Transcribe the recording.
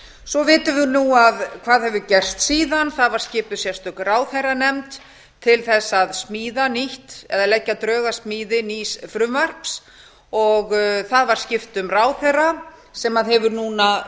svo vitum við nú hvað hefur gerst síðan það var skipuð sérstök ráðherranefnd til þess að smíða nýtt eða leggja drög að smíði nýs frumvarps það var skipt um ráðherra sem hefur núna